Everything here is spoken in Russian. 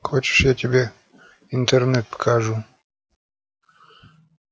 хочешь я тебе интернет покажу